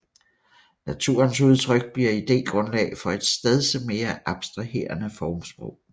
Naturens udtryk bliver idégrundlag for et stedse mere abstraherende formsprog